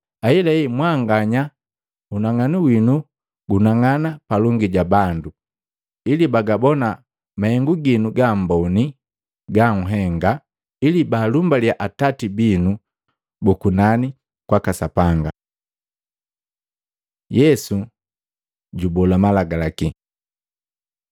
Ahelahe, mwanganya unang'anu winu gunang'ana palongi ja bandu, ili bagabona mahengu ginu gaamboni ganhenga, ili baalumbaliya atati binu bu kunani kwaka Sapanga. Yesu jubola Malagalaki